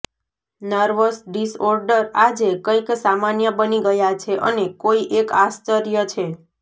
nervous disorder આજે કંઈક સામાન્ય બની ગયા છે અને કોઈ એક આશ્ચર્ય છે